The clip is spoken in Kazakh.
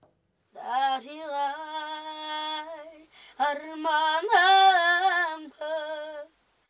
дариғай арманым боп